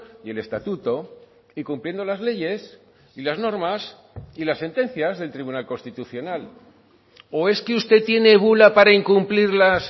y el estatuto y cumpliendo las leyes y las normas y las sentencias del tribunal constitucional o es que usted tiene bula para incumplir las